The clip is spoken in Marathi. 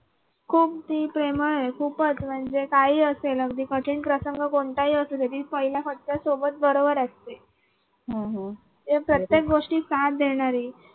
खूप ती प्रेमळ आहे खूपच म्हणजे काही असेल अगदी कठीण प्रसंग कोणतंही असु दे तरी पहिल्या फटक्याती सोबत बरोबर असते म्हणजे प्रत्येक गोष्टीत साथ देणारी